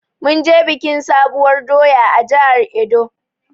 Munje biƙin sabuwur ɗoya a jihar edo